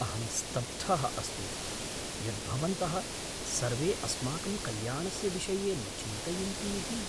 अहं स्तब्धः अस्मि यत् भवन्तः सर्वे अस्माकं कल्याणस्य विषये न चिन्तयन्ति इति। व्यावसायिकः